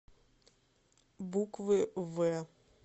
буквы в